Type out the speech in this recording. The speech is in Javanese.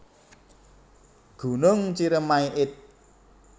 Gunung Ceremai id